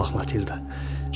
Bura bax Matilda.